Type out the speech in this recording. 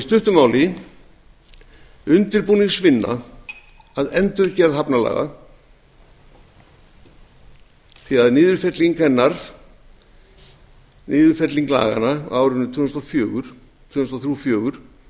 í stuttu máli undirbúningsvinna að endurgerð hafnalaga síðan niðurfelling laganna á árinu tvö þúsund og þrjú til tvö þúsund